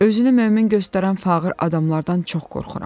Özünü mömin göstərən fağır adamlardan çox qorxuram.